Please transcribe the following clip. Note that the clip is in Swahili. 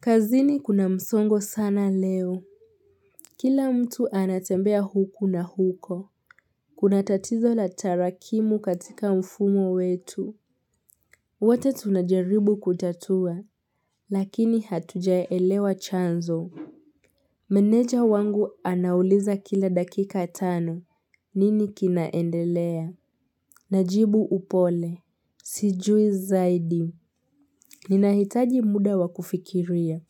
Kazini kuna msongo sana leo Kila mtu anatembea huku na huko Kuna tatizo la tarakimu katika mfumo wetu wote tunajaribu kutatua Lakini hatujaelewa chanzo Meneja wangu anauliza kila dakika tano nini kinaendelea Najibu upole Sijui zaidi Ninahitaji muda wakufikiria